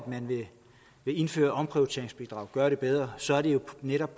indføre et omprioriteringsbidrag gøre det bedre så er det jo netop